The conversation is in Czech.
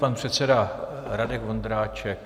Pan předseda Radek Vondráček.